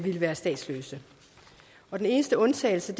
være statsløse den eneste undtagelse